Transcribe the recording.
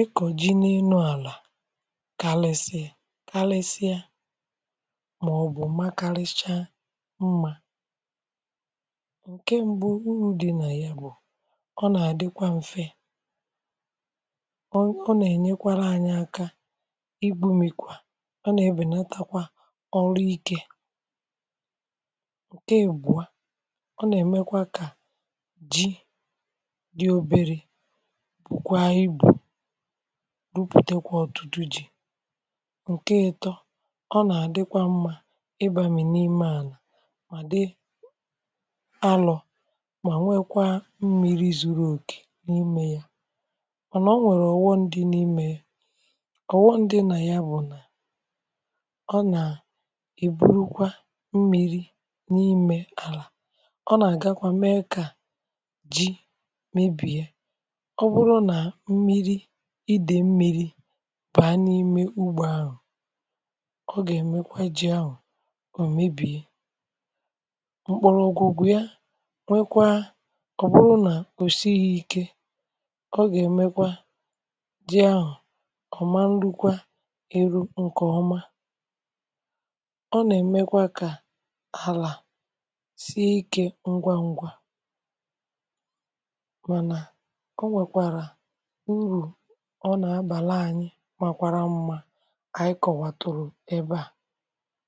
ị kọ̀ji n’enu àlà kàlesi yȧ, màọ̀bụ̀ makàalecha mmȧ ǹke m̀gbu. uru̇ di̇ nà ya bụ̀, ọ nà-àdịkwa mfe, ọ nà-ènyekwara anyị aka, i bu̇ mekwa, ọ nà-ebènatakwa ọrụ ikė ǹke ègbụ̀a. ọ nà-èmekwa kà ji di oberė, bụ̀kwa igbò rupùtekwa ọ̀tụtụ ji. ọ nà-àdịkwa mmȧ ịbà mì n’ime àlà, mà dị alọ̀, mà nwekwaa mmiri̇ zuru okè n’ime yȧ. ọ nà, o nwèrè ọ̀wọ ndị n’ime, ọ̀wọ ndị nà ya, bụ̀ nà ọ nà iburu kwa mmiri̇ n’ime àlà. ọ nà-àgakwa mee kà ji mebìe, ọ bụrụ nà mmiri̇, ọ gà-èmekwa ji ahụ̀ òmebì mkpụrụ̇ ogwù wu̇ ya. nwekwa ọ̀ bụrụ nà òsighi ikė, ọ gà-èmekwa ji ahụ̀ ọ̀ ma nrukwa eru̇ nkè ọma. ọ nà-èmekwa kà àlà sie ikė ngwa ngwa, mànà o nwèkwàrà urù ọ nà-abà laanyi ebe à.